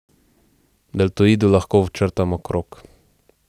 Deltoidu lahko včrtamo krog.